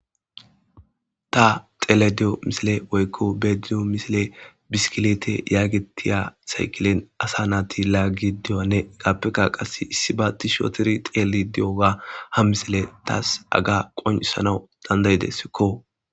Ta telediyo misile woykko bediyo misile biskilete yaagitiya saykilen asa naati laaggi di'oanne gaappeka qas issi baatti shotori xeeli di'oga ha misile taas aga qonisanaw dandayidesikko.